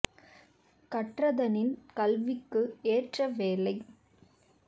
கற்றதனின் கல்விக்கு ஏற்ற வேலை